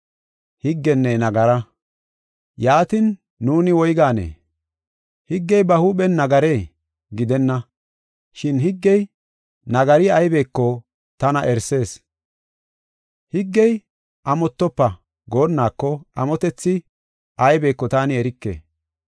Yaatin, nuuni woyganee? Higgey ba huuphen nagaree? Gidenna! Shin higgey nagari aybeko tana erisis. Higgey, “Amotofa” goonnako, amotethi aybeko taani erike.